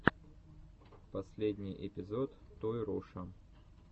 последний эпизод тойруша